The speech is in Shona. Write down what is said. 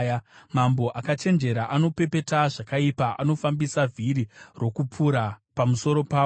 Mambo akachenjera anopepeta zvakaipa; anofambisa vhiri rokupura pamusoro pavo.